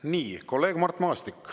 Nii, kolleeg Mart Maastik.